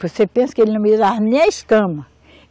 Você pensa que ele não me dava nem a escama.